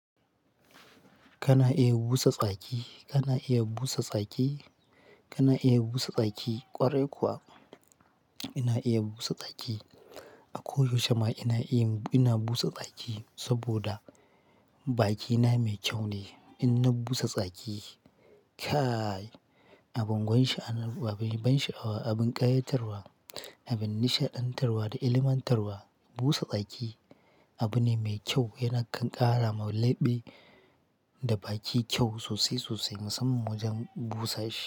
Kana iya busa tsaki, kana iya busa tsaki, kana iya busa tsaki ƙwarai kuwa ina iya busa tsaki. Ako yaushe ma ina iya, ina busa tsaki saboda bakina mai kyau ne. Inna busa tsaki. Kaai! Abin ban sha'awa, abin ƙayatarwa, abin nishaɗantarwa da ilmantarwa. Busa tsaki abu ne mai kyau yana karrama labɓe da baki kyau sosai sosai musamman wajen busa shi.